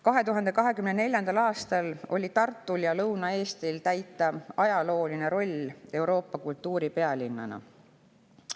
2024. aastal oli Tartul ja Lõuna-Eestil täita ajalooline roll Euroopa kultuuripealinnana.